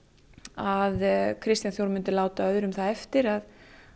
að Kristján Þór myndi láta öðrum það eftir að